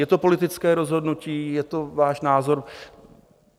Je to politické rozhodnutí, je to váš názor.